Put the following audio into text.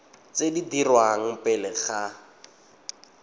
tse di dirwang pele ga